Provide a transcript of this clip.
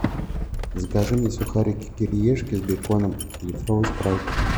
закажи мне сухарики кириешки с беконом литровый спрайт